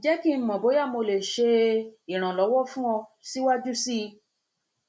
jẹ ki n mọ boya mo le ṣe ṣe iranlọwọ fun ọ siwaju sii